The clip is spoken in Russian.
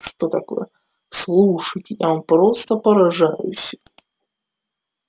что такое слушайте я вам просто поражаюсь